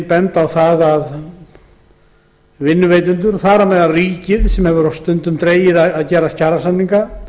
benda megi á að vinnuveitendur þar á meðal ríkið hafi stundum dregið gerð kjarasamninga